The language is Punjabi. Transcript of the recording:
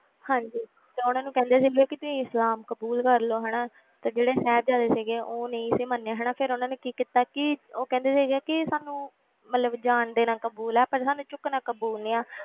ਹਾਂਜੀ ਤੇ ਉਹਨਾਂ ਨੂੰ ਕਹਿੰਦੇ ਸੀਗੇ ਕਿ ਵੀ ਇਸਲਾਮ ਕਬੂਲ ਕਰ ਲਓ ਹਨਾ ਤੇ ਜਿਹੜੇ ਸਾਹਿਬਜ਼ਾਦੇ ਸੀਗੇ ਉਹ ਨਹੀਂ ਸੀ ਮੰਨੇ ਹਨਾ ਫਿਰ ਉਹਨਾਂ ਨੇ ਕੀ ਕੀਤਾ ਕਿ ਉਹ ਕਹਿੰਦੇ ਸੀਗੇ ਕਿ ਸਾਨੂੰ ਮਤਲਬ ਜ਼ਾਨ ਦੇਣਾ ਕਬੂਲ ਹੈ ਪਰ ਸਾਨੂੰ ਝੁਕਣਾ ਕਬੂਲ ਨਹੀਂ ਹੈ,